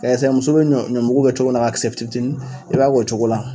Muso bɛ ɲɔmugu kɛ cogo min na ka kisɛ tini tinin; i b'a k'o cogo la